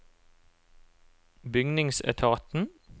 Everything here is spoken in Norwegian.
bygningsetaten